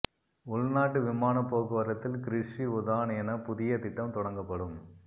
உள்நாட்டு விமான போக்குவரத்தில் கிருஷி உதான் என புதிய திட்டம் தொடங்கப்படும்